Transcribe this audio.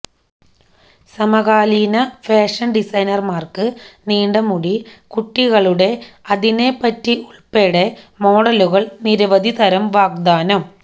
സമകാലീന ഫാഷൻ ഡിസൈനർമാർക്ക് നീണ്ട മുടി കുട്ടികളുടെ അതിനെപറ്റി ഉൾപ്പെടെ മോഡലുകൾ നിരവധി തരം വാഗ്ദാനം